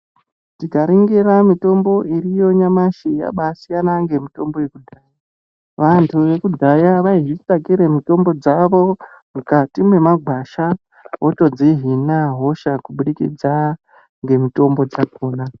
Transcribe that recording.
Tikaringira mitombo iriyo nyamashi yabaasiyana ngemitombo yekudhaya. Vantu yekudhaya vaizvitsvakire mitombo dzavo mukati memagwasha votodzihina hosha kubudikidza ngemutombo dzakona.